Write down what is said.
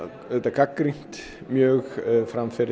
gagnrýnt mjög framferði